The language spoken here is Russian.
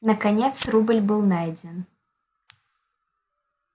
наконец рубль был найден